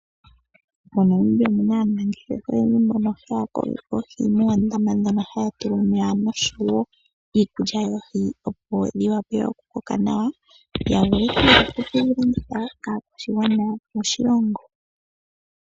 MoNamibia omuna aanangeshefa oyendji mbono haya kokeke oohi moondama ndhono haya tulamo omeya noshowo iikulya yoohi opo dhi vule okukoka nawa yavule oku kedhilanditha po kaakwashigwana moshilongo.